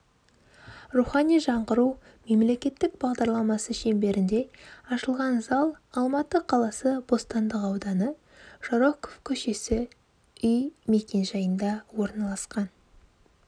рухани жаңғыру мемлекеттік бағдарламасы шеңберінде ашылған зал алматы қаласы бостандық ауданы жароков көшесі үй мекенжайында орналасқан